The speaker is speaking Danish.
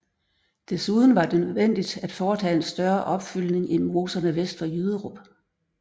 Desuden var det nødvendigt at foretage en større opfyldning i moserne vest for Jyderup